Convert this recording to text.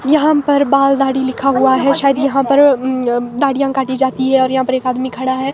यहां पर बाल दाड़ी लिखा हुआ है शायद यहां पर उम्म उम्म दाढ़िया काटी जाती है और यहां पर एक आदमी खड़ा है।